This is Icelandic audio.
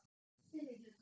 FYRRI HLUTI